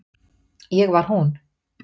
Ég var hún.